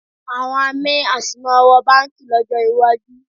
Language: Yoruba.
Àwọn amí a sì máa wọ báǹkì lọ́jọ́ iwájú